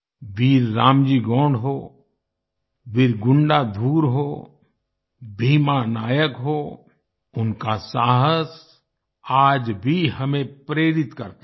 वीर रामजी गोंड हों वीर गुंडाधुर हों भीमा नायक हों उनका साहस आज भी हमें प्रेरित करता है